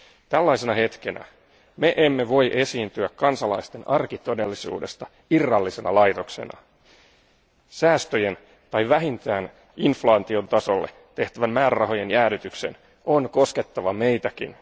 Tällaisena hetkenä me emme voi esiintyä kansalaisten arkitodellisuudesta irrallisena laitoksena. Säästöjen tai vähintään inflaation tasolle tehtävän määrärahojen jäädytyksen on koskettava meitäkin.